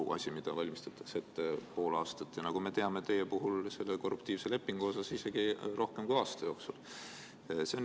See on asi, mida valmistatakse ette pool aastat, ja nagu me teame, on teie puhul selle korruptiivse lepingu ettevalmistused kestnud isegi rohkem kui aasta.